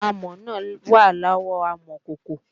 Amọ̀ náà wà lọ́wọ́ amọ̀kòkò